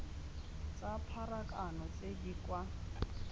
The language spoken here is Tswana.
tsa pharakano tse di kwa